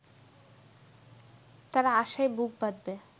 তারা আশায় বুক বাঁধবে